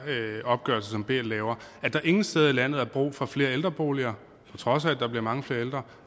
opgørelse som bl laver at der ingen steder i landet er brug for flere ældreboliger på trods af at der bliver mange flere ældre